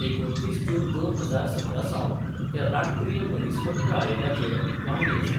एकुणतीस जून दोन हजार सतरा सावन ते राष्ट्रीय मनीसहक्क आयोगाचे वांगडी आसात.